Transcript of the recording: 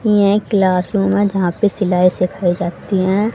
यह क्लासरूम है जहां पे सिलाई सिखाई जाती हैं।